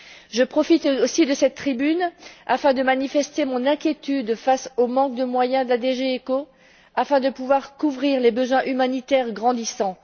Je profite aussi de cette tribune pour manifester mon inquiétude face au manque de moyens dont dispose la DGECHO pour couvrir les besoins humanitaires grandissants.